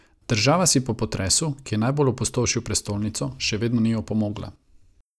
Država si po potresu, ki je najbolj opustošil prestolnico, še vedno ni opomogla.